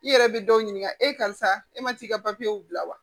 I yɛrɛ bɛ dɔw ɲininka e karisa e ma t'i ka papiyew bila wa